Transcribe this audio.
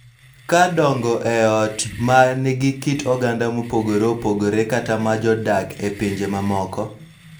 Ka dongo e ot ma nigi kit oganda mopogore opogore kata ma jodak e pinje mamoko,